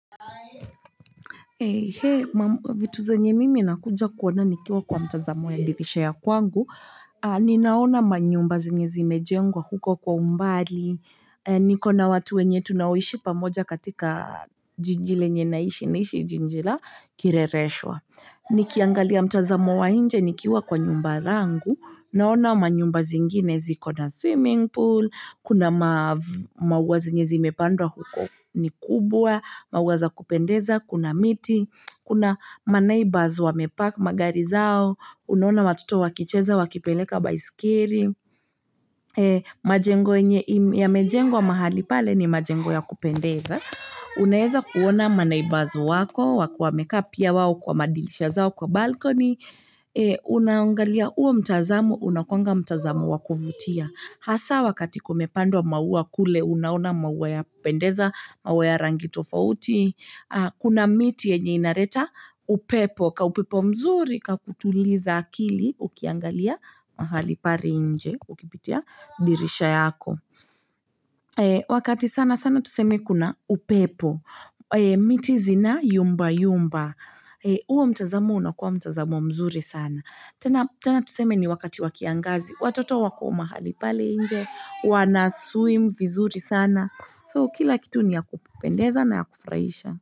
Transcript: Eee, hee, mwa vitu zenye mimi nakuja kuona nikiwa kwa mtazamo ya dirisha ya kwangu, ninaona ma nyumba zenye zimejengwa huko kwa umbali, niko na watu wenye tunaoishi pamoja katika jiji lenye naishi jinjila kirereshwa. Nikiangalia mtazamo wa nje nikiwa kwa nyumba langu, ninaona ma nyumba zingine zikona swimming pool, kuna maua zenye zimepandwa huko ni kubwa, maua za kupendeza, kuna miti, kuna maneighbors wamepark ma gari zao, unaona watoto wa kicheza wa kipeleka baiskeri, ee, majengo yenye yamejengwa mahali pale ni majengo ya kupendeza, unaweza kuona maneighbours wako, wakiwa wamekaa pia wao kwa ma dirisha zao kwa balkoni, ee, unaungalia uo mtazamo, unakuanga mtazamo wa kuvutia. Hasaa wakati kumepandwa maua kule, unaona maua ya kupendeza, maua ya rangi tofauti, kuna miti yenye inareta upepo, kaupepo mzuri, kakutuliza akili ukiangalia mahali pale nje, ukipitia dirisha yaako. Ee, wakati sana sana tuseme kuna upepo, ee, miti zina yumba yumba, ee, uo mtazamo unakuwa mtazamo mzuri sana. Tena tuseme ni wakati wa kiangazi. Watoto wako mahali pale nje, wanaswim vizuri sana. So kila kitu ni ya kupendeza na ya kufurahisha.